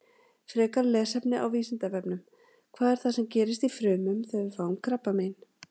Frekara lesefni á Vísindavefnum: Hvað er það sem gerist í frumunum þegar við fáum krabbamein?